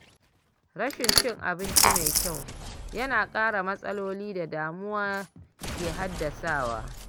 Rashin cin abinci mai kyau yana ƙara matsalolin da damuwa ke haddasawa.